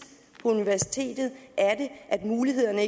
på universitetet at mulighederne